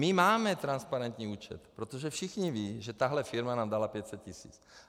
My máme transparentní účet, protože všichni vědí, že tahle firma nám dala 500 tisíc.